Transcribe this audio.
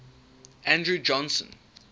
andrew johnson